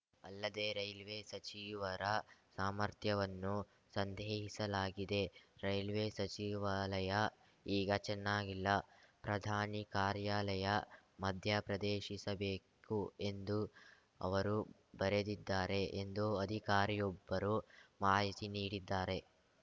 ಅಲ್ಲದೇ ರೈಲ್ವೆ ಸಚಿವರ ಸಾಮರ್ಥ್ಯವನ್ನೂ ಸಂದೇಹಿಸಲಾಗಿದೆ ರೈಲ್ವೆ ಸಚಿವಾಲಯ ಈಗ ಚೆನ್ನಾಗಿಲ್ಲ ಪ್ರಧಾನಿ ಕಾರ್ಯಾಲಯ ಮಧ್ಯಪ್ರದೇಶಿಸಬೇಕು ಎಂದು ಅವರು ಬರೆದಿದ್ದಾರೆ ಎಂದು ಅಧಿಕಾರಿಯೊಬ್ಬರು ಮಾಹಿತಿ ನೀಡಿದ್ದಾರೆ